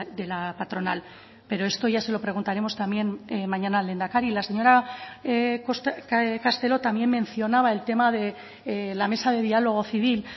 de la patronal pero esto ya se lo preguntaremos también mañana al lehendakari la señora castelo también mencionaba el tema de la mesa de diálogo civil